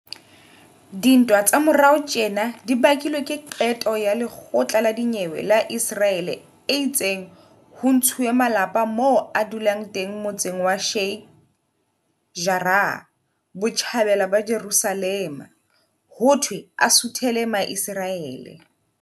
Dintwa tsa morao tjena di bakilwe ke qeto ya lekgotla la dinyewe la Iseraele e itseng ho ntshuwe malapa moo a dulang teng motseng wa Sheikh Jarrah, Botjhabela ba Jerusalema, hothwe a suthele Maiseraele.